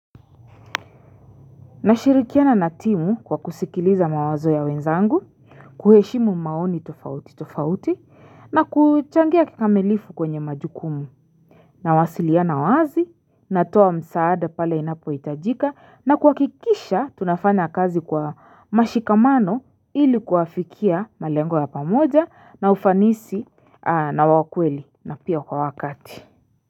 Nashirikiana na timu kwa kusikiliza mawazo ya wenzangu, kuheshimu maoni tofauti tofauti, na kuchangia kikamilifu kwenye majukumu. Nawasiliana wazi, natoa msaada pale inapohitajika, na kuhakikisha tunafanya kazi kwa mashikamano ili kuafikia malengo ya pamoja na ufanisi na wa kweli na pia kwa wakati.